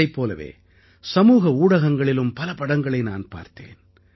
இதைப் போலவே சமூக ஊடகங்களிலும் பல படங்களை நான் பார்த்தேன்